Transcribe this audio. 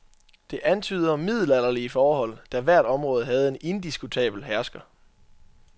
Det antyder middelalderlige forhold, da hvert område havde en indiskutabel hersker.